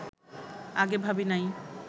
আগে ভাবি নাই